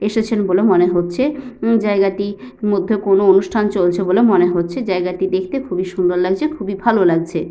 এসেছেন বলে মনে হচ্ছে। জায়গাটির মধ্যে কোন অনুষ্ঠান চলছে বলে মনে হচ্ছে। জায়গাটি দেখতে খুব সুন্দর লাগছে খুবই ভালো লাগছে।